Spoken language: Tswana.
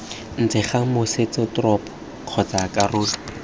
ntle ga motsesetoropo kgotsa karolo